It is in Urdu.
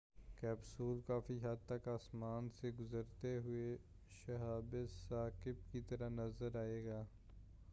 کیپسول کافی حد تک آسمان سے گزرتے ہوئے شَہاب ثاقِب کی طرح نظر آئےگا